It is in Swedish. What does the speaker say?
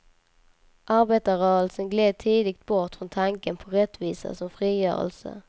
Arbetarrörelsen gled tidigt bort från tanken på rättvisa som frigörelse.